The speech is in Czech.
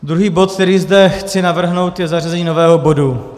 Druhý bod, který zde chci navrhnout, je zařazení nového bodu.